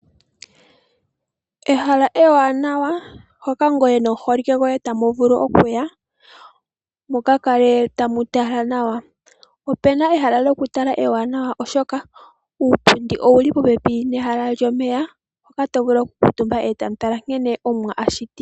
Ehala ewanawa hoka ngoye nomuholike goye tamu vulu okuya mu ka kale tamu tala nawa. Opuna ehala lokutala ewanawa oshoka uupundi owu li popepi nehala lyomeya, hoka to vulu okukutumba e ta mu tala nkene Omuwa a shiti.